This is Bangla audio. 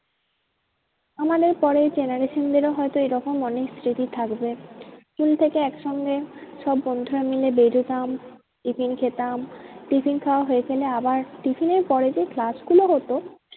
আমাদের পরের generation দের ও হয়তো এরকম অনেক স্মৃতি থাকবে। school থেকে এক সঙ্গে সব বন্ধুরা মিলে বেরোতাম tiffin খেতাম tiffin খাওয়া হয়ে গেলে আবার tiffin এর পরে যে class গুলো হতো